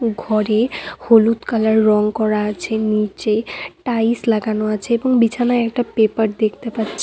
ঘরে হলুদ কালার রং করা আছে নীচে টাইলস লাগানো আছে এবং বিছানায় একটা পেপার দেখতে পাচ্ছি।